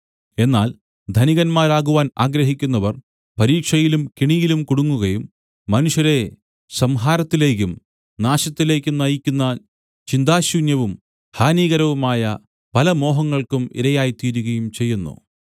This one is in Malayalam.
എന്നാൽ ധനികന്മാരാകുവാൻ ആഗ്രഹിക്കുന്നവർ പരീക്ഷയിലും കെണിയിലും കുടുങ്ങുകയും മനുഷ്യരെ സംഹാരത്തിലേക്കും നാശത്തിലേക്കും നയിക്കുന്ന ചിന്താശൂന്യവും ഹാനികരവുമായ പല മോഹങ്ങൾക്കും ഇരയായിത്തീരുകയും ചെയ്യുന്നു